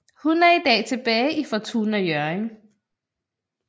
Hun er i dag tilbage i Fortuna Hjørring